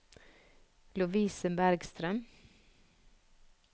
Lovise Bergstrøm